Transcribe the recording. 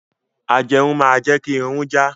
Ajẹrun máa jẹ́ kí Irun jà.